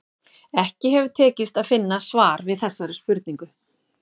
Ekki hefur tekist að finna svar við þessari spurningu.